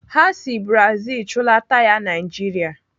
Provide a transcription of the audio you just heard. Ha si Brazil chụlata ya Naijiria.